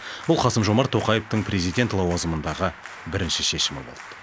бұл қасым жомарт тоқаевтың президент лауазымындағы бірінші шешімі болды